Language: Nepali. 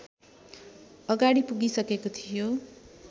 अगाडि पुगिसकेको थियो